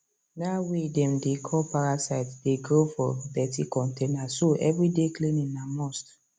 that way them dey call parasite dey grow for dirti container so every day cleaning na must